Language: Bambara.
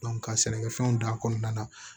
ka sɛnɛkɛfɛnw da kɔnɔna na